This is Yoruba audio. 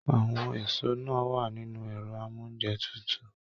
Àwọn èso náà wà nínú ẹrọ amounjẹ tútù.